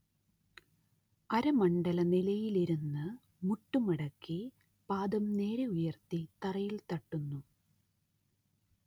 അരമണ്ഡല നിലയിലിരുന്ന് മുട്ട് മടക്കി പാദം നേരെ ഉയർത്തി തറയിൽ തട്ടുന്നു